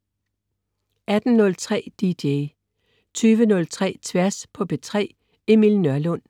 18.03 DJ 20.03 Tværs på P3. Emil Nørlund